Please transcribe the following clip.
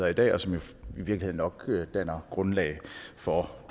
i dag og som i virkeligheden nok danner grundlag for